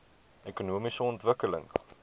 ekonomiese ontwikkeling